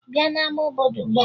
Bịa n'ama obodo ugbua!